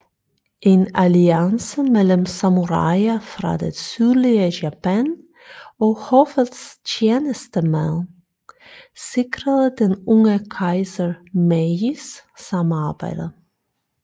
En alliance mellem samuraier fra det sydlige Japan og hoffets tjenestemænd sikrede den unge kejser Meijis samarbejde